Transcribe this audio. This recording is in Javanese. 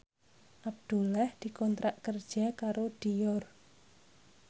Abdullah dikontrak kerja karo Dior